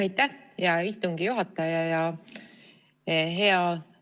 Aitäh, hea istungi juhataja!